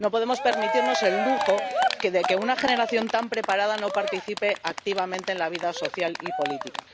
No podemos permitirnos el lujo de que una generación tan preparada no participe activamente en la vida social y política.